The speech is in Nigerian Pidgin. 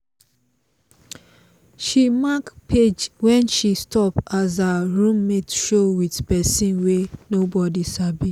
she mark page wen she stop as her room mate show with pesin wey nobody sabi